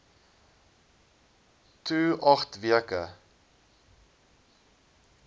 to agt weke